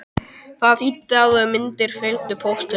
Það þýddi að myndir fylgdu póstinum.